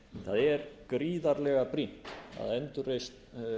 það er gríðarlega brýnt að endurreisn